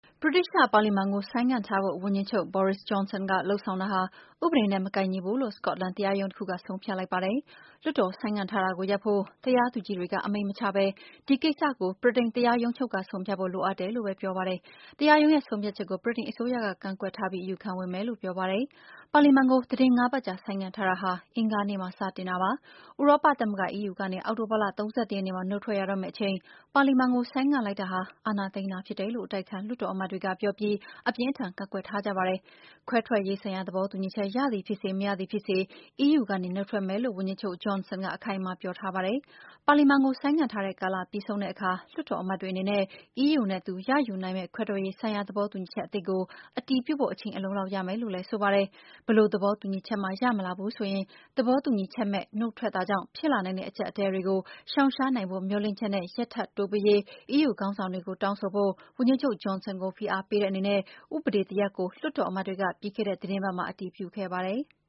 ဗြိတိသျှပါလီမန်ကို ဆိုင်းငံ့ထားဖို့ ဝန်ကြီးချုပ် Boris Johnson က လုပ်ဆောင်တာဟာ ဥပဒေနဲ့ မကိုက်ညီဘူးလို့ စကော့တလန် တရားရုံးတခုက ဆုံးဖြတ်လိုက်ပါတယ်။ လွှတ်တော်ဆိုင်းငံ့ထားတာကိုရပ်ဖို့ တရားသူကြီးတွေက အမိန့်မချဘဲ ဒီကိစ္စကို ဗြိတိန်တရားရုံးချုပ်က ဆုံးဖြတ်ဖို့ လိုအပ်တယ်လို့ ပဲ ပြောပါတယ်။ တရားရုံးရဲ့ ဆုံးဖြတ်ချက်ကို ဗြိတိန်အစိုးရက ကန့်ကွက်ထားပြီး အယူခံဝင်မယ်လို့ ပြောပါတယ်။ ပါလီမန်ကို သီတင်းငါးပတ်ကြာ ဆိုင်းငံ့ထားတာဟာ အင်္ဂါနေ့မှာ စတင်တာပါတယ်။ ဥရောပသမဂ္ဂ EU ကနေ အောက်တိုဘာလ ၃၁ ရက်နေ့မှာ နုတ်ထွက်ရတော့မယ့်အချိန် ပါလီမန်ကို ဆိုင်းငံ့လိုက်တာဟာ အာဏာသိမ်းတာဖြစ်တယ်လို့ အတိုက်အခံ လွှတ်တော်အမတ်တွေကပြောပြီး အပြင်းအထန် ကန့်ကွက်ထားကြပါတယ်။ ခွဲထွက်ရေးဆိုင်ရာ သဘောတူညီချက် ရသည်ဖြစ်စေ မရသည်ဖြစ်စေ EU ကနေ နုတ်ထွက်မယ်လို့ ဝန်ကြီးချုပ် Johnson က အခိုင်အမာပြောထားပါတယ်။ ပါလီမန်ကို ဆိုင်းငံ့ထားတဲ့ ကာလပြီးဆုံးတဲ့ အခါ လွှတ်တော်အမတ်တွေအနေနဲ့ EU နဲ့ သူ ရယူနိုင် မယ့် ခွဲထွက်ရေးဆိုင်ရာ သဘောတူညီချက်အသစ်ကို အတည်ပြုဖို့ အချိန်အလုံအလောက်ရမယ်လို့လည်း ဆိုပါတယ်။ ဘယ်လိုသဘောတူညီချက်မှ ရမလာဘူးဆိုရင် သဘောတူညီချက်မဲ့ နုတ်ထွက်တာကြောင့် ဖြစ်လာနိုင်တဲ့ အကျပ်အတည်းတွေ ကို ရှောင်ရှားနိုင်ဖို့ မျှော်လင့်ချက်နဲ့ ရက်ထပ်တိုးပေးရေး EU ခေါင်းဆောင်တွေကို တောင်းဆိုဖို့ ဝန်ကြီးချုပ် Johnson ကို ဖိအား ပေးတဲ့အနေနဲ့ ဥပဒေတရပ်ကို လွှတ်တော်အမတ်တွေက ပြီးခဲ့တဲ့သီတင်းပတ်မှာ အတည်ပြုခဲ့ပါတယ်။